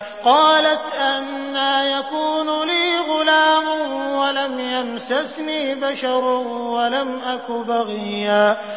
قَالَتْ أَنَّىٰ يَكُونُ لِي غُلَامٌ وَلَمْ يَمْسَسْنِي بَشَرٌ وَلَمْ أَكُ بَغِيًّا